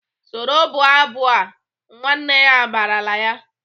"Soro bụọ abụ a!" Nwanne ya barala ya!